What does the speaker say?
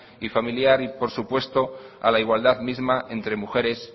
y familiar y por supuesto a la igualdad misma entre mujeres